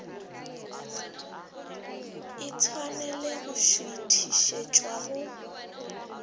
e tshwanele go šuithišetšwa go